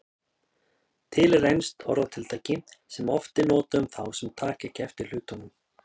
Til er enskt orðatiltæki sem oft er notað um þá sem taka ekki eftir hlutunum.